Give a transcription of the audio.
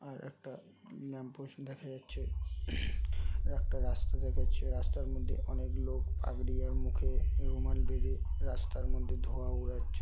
আর একটা lamp post দেখা যাচ্ছে। একটা রাস্তা দেখা যাচ্ছে। রাস্তার মধ্যে অনেক লোক পাগড়ি আর মুখে রুমাল বেঁধে রাস্তার মধ্যে ধোয়া ওড়াচ্ছ --